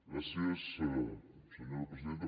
gràcies senyora presidenta